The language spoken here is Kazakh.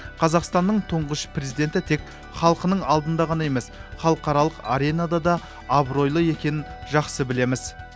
қазақстанның тұңғыш президенті тек халқының алдында ғана емес халықаралық аренада да абыройлы екенін жақсы білеміз